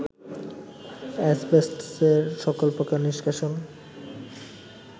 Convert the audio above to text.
অ্যাসবেস্টসের সকল প্রকার নিষ্কাশন